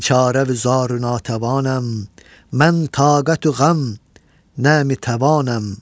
Biçarə vü zarü natəvanəm, nəm-i taqətü ğəm, nəmi təvanəm.